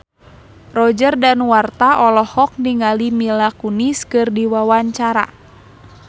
Roger Danuarta olohok ningali Mila Kunis keur diwawancara